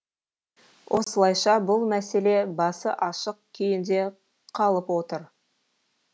осылайша бұл мәселе басы ашық күйінде қалып отыр